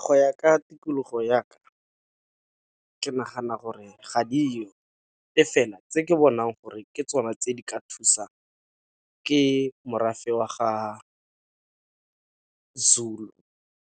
Go ya ka tikologo ya ka, ke nagana gore ga dio, e fela tse ke bonang gore ke tsone tse di ka thusang ke morafe wa ga Zulu,